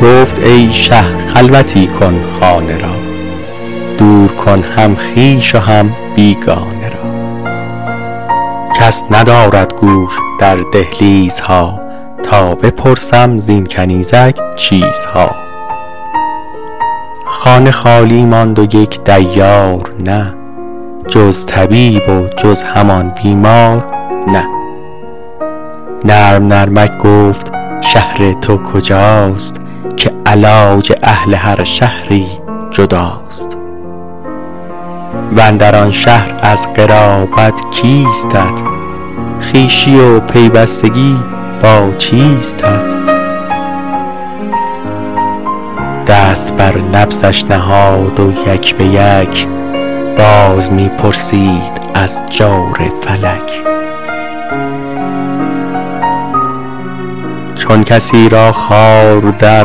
گفت ای شه خلوتی کن خانه را دور کن هم خویش و هم بیگانه را کس ندارد گوش در دهلیزها تا بپرسم زین کنیزک چیزها خانه خالی ماند و یک دیار نه جز طبیب و جز همان بیمار نه نرم نرمک گفت شهر تو کجاست که علاج اهل هر شهری جداست واندر آن شهر از قرابت کیستت خویشی و پیوستگی با چیستت دست بر نبضش نهاد و یک بیک باز می پرسید از جور فلک چون کسی را خار در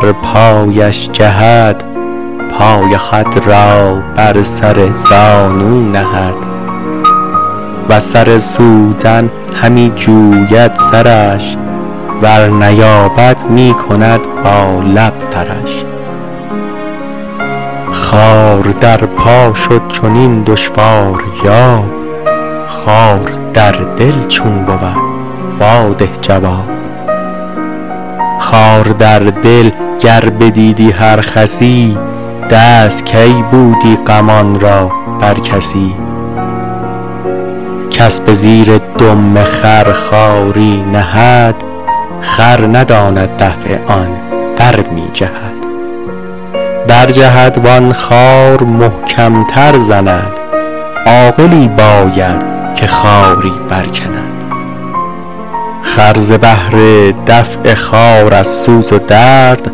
پایش جهد پای خود را بر سر زانو نهد وز سر سوزن همی جوید سرش ور نیابد می کند با لب ترش خار در پا شد چنین دشواریاب خار در دل چون بود وا ده جواب خار در دل گر بدیدی هر خسی دست کی بودی غمان را بر کسی کس به زیر دم خر خاری نهد خر نداند دفع آن برمی جهد برجهد وان خار محکم تر زند عاقلی باید که خاری برکند خر ز بهر دفع خار از سوز و درد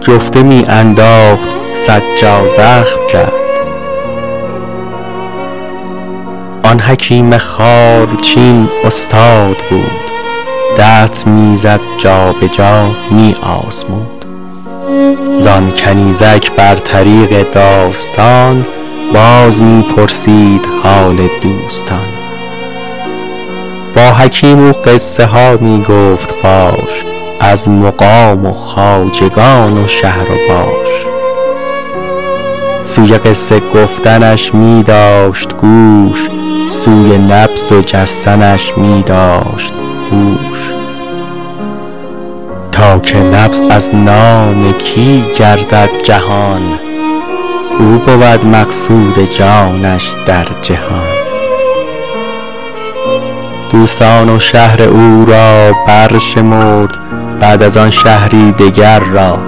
جفته می انداخت صد جا زخم کرد آن حکیم خارچین استاد بود دست می زد جابجا می آزمود زان کنیزک بر طریق داستان باز می پرسید حال دوستان با حکیم او قصه ها می گفت فاش از مقام و خواجگان و شهر و باش سوی قصه گفتنش می داشت گوش سوی نبض و جستنش می داشت هوش تا که نبض از نام کی گردد جهان او بود مقصود جانش در جهان دوستان و شهر او را برشمرد بعد از آن شهری دگر را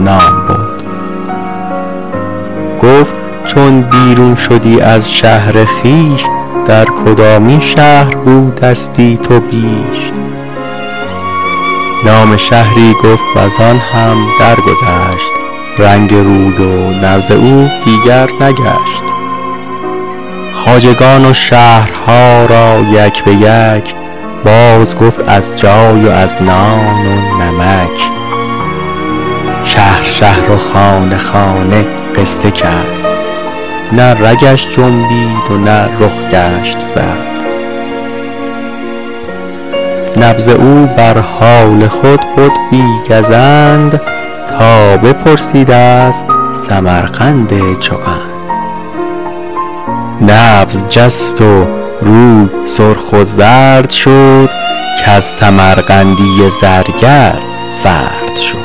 نام برد گفت چون بیرون شدی از شهر خویش در کدامین شهر بودستی تو بیش نام شهری گفت و زان هم درگذشت رنگ روی و نبض او دیگر نگشت خواجگان و شهرها را یک بیک باز گفت از جای و از نان و نمک شهر شهر و خانه خانه قصه کرد نه رگش جنبید و نه رخ گشت زرد نبض او بر حال خود بد بی گزند تا بپرسید از سمرقند چو قند نبض جست و روی سرخ و زرد شد کز سمرقندی زرگر فرد شد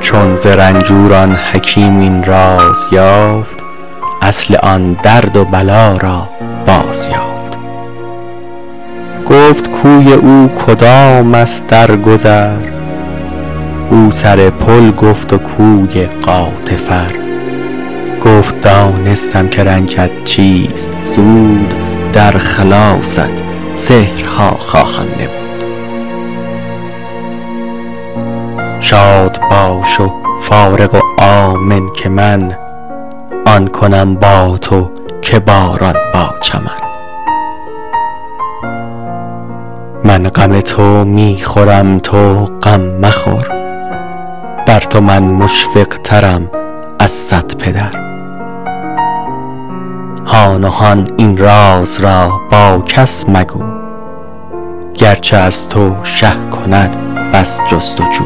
چون ز رنجور آن حکیم این راز یافت اصل آن درد و بلا را باز یافت گفت کوی او کدام است در گذر او سر پل گفت و کوی غاتفر گفت دانستم که رنجت چیست زود در خلاصت سحرها خواهم نمود شاد باش و فارغ و آمن که من آن کنم با تو که باران با چمن من غم تو می خورم تو غم مخور بر تو من مشفق ترم از صد پدر هان و هان این راز را با کس مگو گرچه از تو شه کند بس جست و جو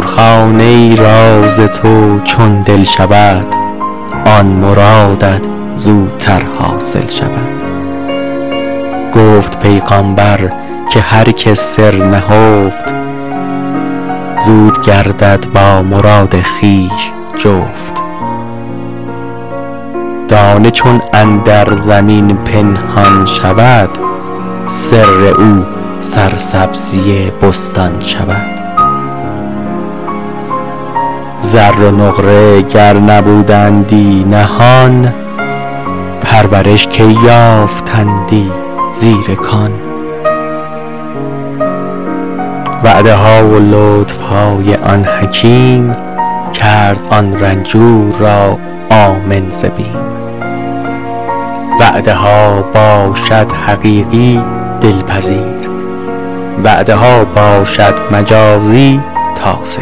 خانه اسرار تو چون دل شود آن مرادت زودتر حاصل شود گفت پیغامبر که هر که سر نهفت زود گردد با مراد خویش جفت دانه چون اندر زمین پنهان شود سر او سرسبزی بستان شود زر و نقره گر نبودندی نهان پرورش کی یافتندی زیر کان وعده ها و لطف های آن حکیم کرد آن رنجور را آمن ز بیم وعده ها باشد حقیقی دل پذیر وعده ها باشد مجازی تاسه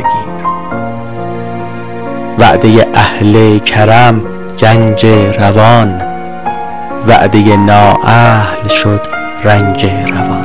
گیر وعده اهل کرم گنج روان وعده نااهل شد رنج روان